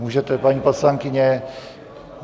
Můžete, paní poslankyně.